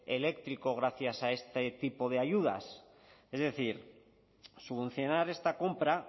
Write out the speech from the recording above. eléctrico gracias a este tipo de ayudas es decir subvencionar esta compra